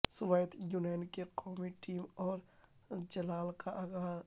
Soviet Union کے قومی team اور جلال کا اعزاز